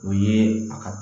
O ye a ka